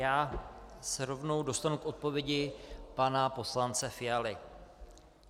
Já se rovnou dostanu k odpovědi pana poslance Fialy.